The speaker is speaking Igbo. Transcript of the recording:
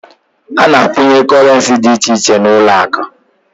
A na a kwunye korenci dị iche iche n'uloaku